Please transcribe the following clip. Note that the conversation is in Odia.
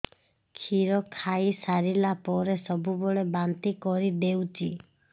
କ୍ଷୀର ଖାଇସାରିଲା ପରେ ସବୁବେଳେ ବାନ୍ତି କରିଦେଉଛି